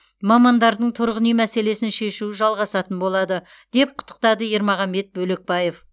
мамандардың тұрғын үй мәселесін шешу жалғасатын болады деп құттықтады ермағанбет бөлекпаев